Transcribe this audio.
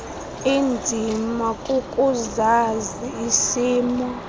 inzima kukuzazi isimo